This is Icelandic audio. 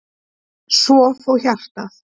Svo fór hjartað.